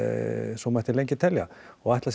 svo mætti lengi telja og ætla